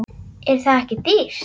Er það ekki dýrt?